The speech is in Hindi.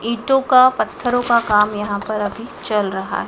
ईंटो का पत्थरों का काम यहां पर अभी चल रहा है।